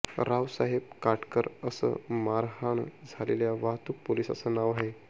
रावसाहेब काटकर असं मारहाण झालेल्या वाहतूक पोलिसाचं नाव आहे